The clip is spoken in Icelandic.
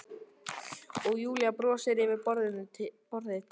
Og Júlía brosir yfir borðið til